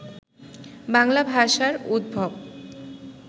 বাংলা ভাষার উদ্ভব